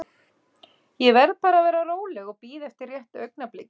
Ég verð bara að vera róleg og bíða eftir rétta augnablikinu.